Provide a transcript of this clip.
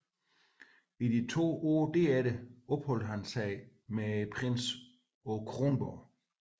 I de to følgende år opholdt han sig med prinsen på Kronborg